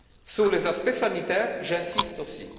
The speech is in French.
Sur les aspects sanitaires, j'insiste aussi.